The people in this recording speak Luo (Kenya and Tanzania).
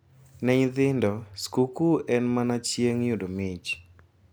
Ne nyithindo, skuku en mana chieng` yudo mich.